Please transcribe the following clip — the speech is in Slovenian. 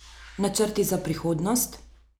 Načrti za prihodnost?